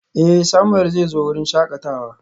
Eh, Samuel zai zo wurin shakatawa.